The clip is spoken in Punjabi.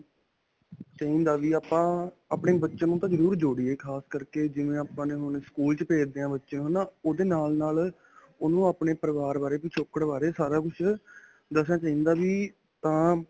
ਚਾਹਿਦਾ ਵੀ ਆਪਾਂ, ਆਪਣੇ ਬੱਚਿਆਂ ਨੂੰ ਤਾਂ ਜਰੁਰ ਜੋੜੀਏ ਖਾਸ ਕਰਕੇ ਜਿਵੇਂ ਆਪਾਂ ਨੇ ਹੁਣ ਸਕੂਲ 'ਚ ਭੇਜਦੇ ਹਾਂ, ਬੱਚਿਆਂ ਨੂੰ ਓਦੇ ਨਾਲ-ਨਾਲ ਓਹਨੂੰ ਆਪਣੇ ਪਰਿਵਾਰ ਬਾਰੇ ਪਛੋਕੜ ਬਾਰੇ ਸਾਰਾ ਕੁੱਝ ਦਸਣਾ ਚਾਹਿਦਾ ਵੀ ਤਾਂ.